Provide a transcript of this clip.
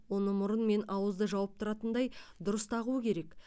оны мұрын мен ауызды жауып тұратындай дұрыс тағу керек